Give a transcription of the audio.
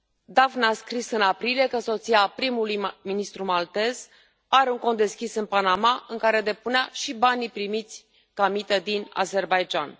Daphne a scris în aprilie că soția primului ministru maltez are un cont deschis în Panama în care depunea și banii primiți ca mită din Azerbaidjan.